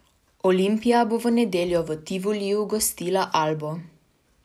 Olimpija bo v nedeljo v Tivoliju gostila Albo.